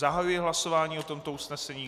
Zahajuji hlasování o tomto usnesení.